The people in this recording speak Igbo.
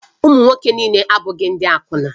Ụmụ nwoke niile abụghị ndị akwụna